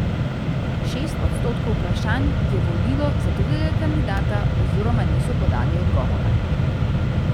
Šest odstotkov vprašanih je volilo za drugega kandidata oziroma niso podali odgovora.